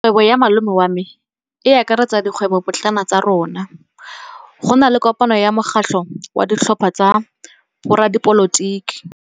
Kgwêbô ya malome wa me e akaretsa dikgwêbôpotlana tsa rona. Go na le kopanô ya mokgatlhô wa ditlhopha tsa boradipolotiki.